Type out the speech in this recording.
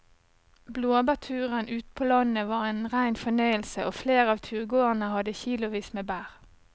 Blåbærturen ute på landet var en rein fornøyelse og flere av turgåerene hadde kilosvis med bær.